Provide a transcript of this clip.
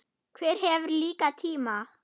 Hver hefur líka tíma?